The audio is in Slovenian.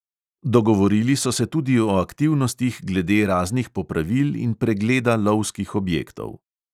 Dogovorili so se tudi o aktivnostih glede raznih popravil in pregleda lovskih objektov.